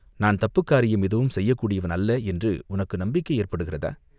"நான் தப்புக் காரியம் எதுவும் செய்யக்கூடியவன் அல்ல என்று உனக்கு நம்பிக்கை ஏற்படுகிறதா?